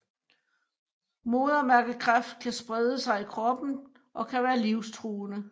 Modermærkekræft kan sprede sig i kroppen og kan være livsstruende